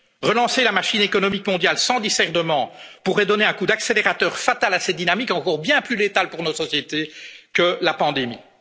Relancer la machine économique mondiale sans discernement pourrait donner un coup d'accélérateur fatal à ces dynamiques encore bien plus létales pour nos sociétés que la